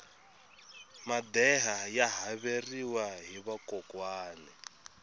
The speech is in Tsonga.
madeha ya haveriwa hi vakokwani